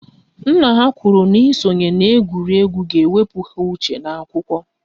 Nna ha kwụrụ n'ịsonye na-egwuregwu ga-ewepụ ha uche n'akwụkwọ